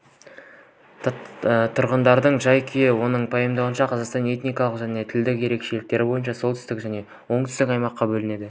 тұрғындардың жай-күйі оның пайымдауынша қазақстан этникалық және тілдік ерекшелік бойынша солтүстік және оңтүстік аймаққа бөлінген